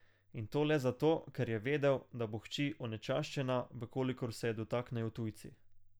In to le zato, ker je vedel, da bo hči onečaščena, v kolikor se je dotaknejo tujci.